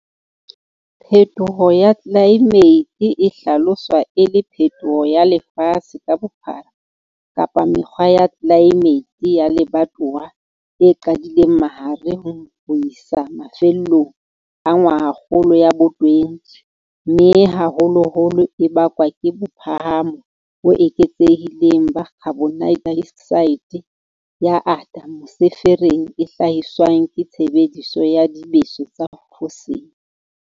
Phetoho ya tlelaemete e hlaloswa e le phetoho ya lefatshe ka bophara kapa mekgwa ya tlelaemete ya lebatowa e qadileng mahareng ho isa mafellong a ngwahakgolo ya bo20 mme haholoholo e bakwa ke bophahamo bo eketsehileng ba khabonedaeoksaete ya ate mosefereng e hlahiswang ke tshebediso ya dibeso tsa fosile.